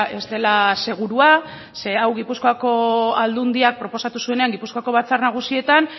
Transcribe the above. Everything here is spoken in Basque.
ez dela segurua ze hau gipuzkoako aldundiak proposatu zuenean gipuzkoako batzar nagusietan